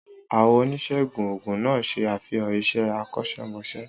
Àwọn oníṣègùn òògùn náà ṣe àfihàn iṣẹ́ akọ́ṣẹ́mọṣẹ́.